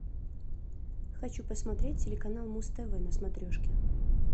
хочу посмотреть телеканал муз тв на смотрешке